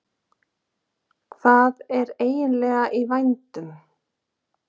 Hvað er eiginlega í vændum?